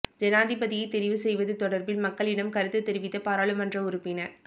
ஜனாதிபதியை தெரிவு செய்வது தொடர்பில் மக்களிடம் கருத்து தெரிவித்த பாராளுமன்ற உறுப்பினர்